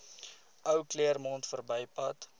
ou claremont verbypad